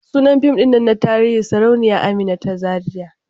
Sunan fim din nan na tarihi Sarauniya Amina ta Zariya.